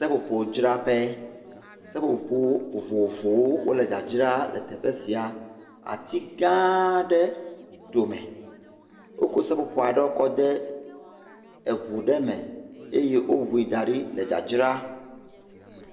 Seƒoƒodzraƒe, seƒoƒo vovovo wole dzadzra le teƒe sia. Ati gã aɖe ɖome, wokɔ seƒoƒo aɖewo kɔ de ŋu ɖe me eye woŋui da ɖi le dzadzra.